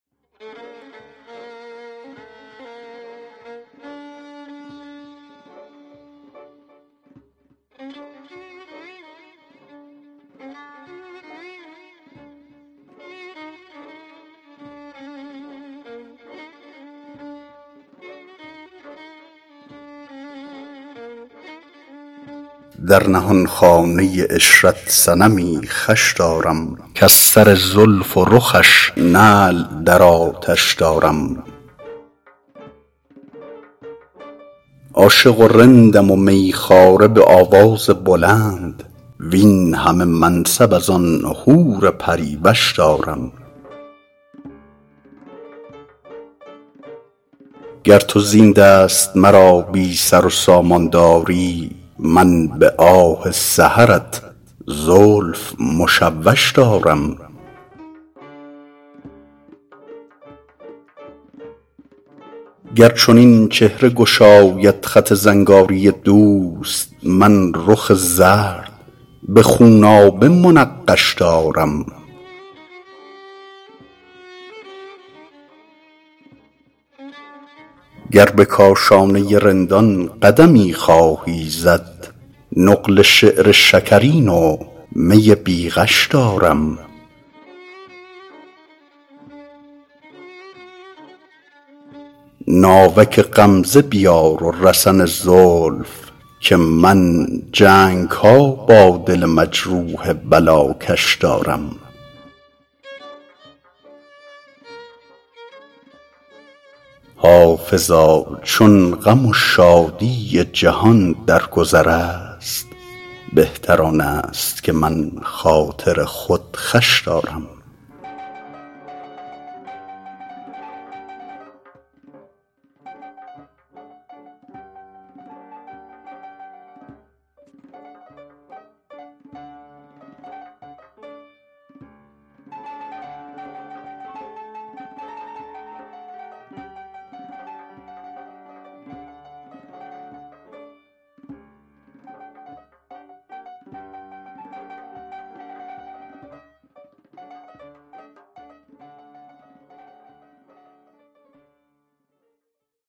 در نهانخانه عشرت صنمی خوش دارم کز سر زلف و رخش نعل در آتش دارم عاشق و رندم و می خواره به آواز بلند وین همه منصب از آن حور پری وش دارم گر تو زین دست مرا بی سر و سامان داری من به آه سحرت زلف مشوش دارم گر چنین چهره گشاید خط زنگاری دوست من رخ زرد به خونابه منقش دارم گر به کاشانه رندان قدمی خواهی زد نقل شعر شکرین و می بی غش دارم ناوک غمزه بیار و رسن زلف که من جنگ ها با دل مجروح بلاکش دارم حافظا چون غم و شادی جهان در گذر است بهتر آن است که من خاطر خود خوش دارم